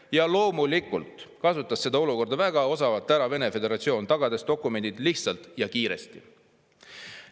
Ja loomulikult kasutas seda olukorda väga osavalt ära Vene föderatsioon, tagades dokumendid lihtsalt ja kiiresti.